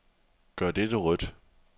Gør dette rødt.